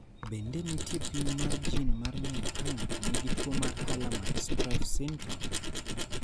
Bende nitie pim mar jin mar ng�eyo ka ng�ato nigi tuo mar Hallermann Streiff syndrome?